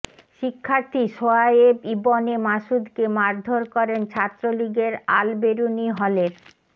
শিক্ষার্থী সোহায়েব ইবনে মাসুদকে মারধর করেন ছাত্রলীগের আল বেরুনী হলের